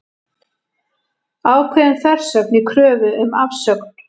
Ákveðin þversögn í kröfu um afsögn